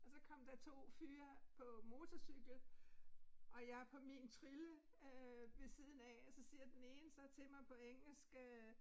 Og så kom der to fyre på motorcykel og jeg på min trille øh ved siden af og så siger den ene så til mig på engelsk øh